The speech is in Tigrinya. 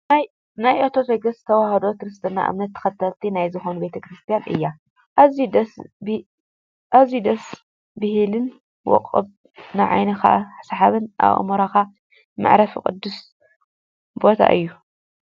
ናይ ኦርቶዶክስ ተዋህዶ ክርስትና እምነት ተከተልቲ ናይ ዝኮኑ ቤተ ክርስትያን እዩ። ኣዝዩ ደስ ብሃልን ውቅብ ንዓይንካ ስሓብን ኣእምሮካ መዕረፍን ቅዱስ ቦታ እዩ።